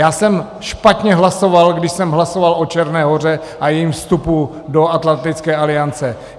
Já jsem špatně hlasoval, když jsem hlasoval o Černé Hoře a jejím vstupu do Atlantické aliance.